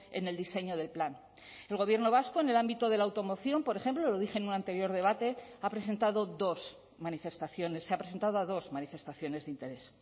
en el diseño del plan el gobierno vasco en el ámbito de la automoción por ejemplo lo dije en un anterior debate ha presentado dos manifestaciones se ha presentado a dos manifestaciones de interés